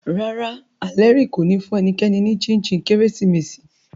Rárá, Alheri ko ni fun enikeni ni chin chin Keresimesi